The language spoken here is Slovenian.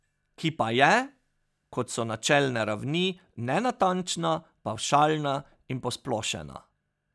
Ki pa je, kot so načelne ravni, nenatančna, pavšalna in posplošena ...